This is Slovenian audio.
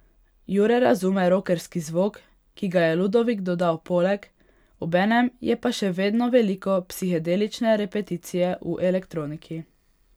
Jure razume rokerski zvok, ki ga je Ludovik dodal poleg, obenem je pa še vedno veliko psihedelične repeticije v elektroniki.